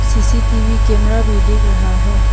CCTV camera भी दिख रहा है।